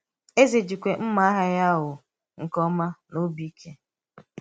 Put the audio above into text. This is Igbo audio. Èzè jìkwà mma àghà ya um nke ọma n’òbì íké.